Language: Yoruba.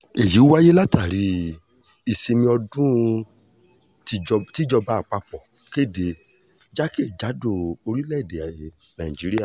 èyí wáyé látàrí ìsinmi ọdún tíjọba àpapọ̀ kéde jákè-kàdò orílẹ̀-èdè nàíjíríà